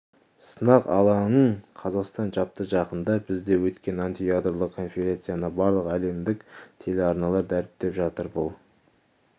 сынақ алаңын қазақстан жапты жақында бізде өткен антиядролық конференцияны барлық әлемдік телеарналар дәріптеп жатыр бұл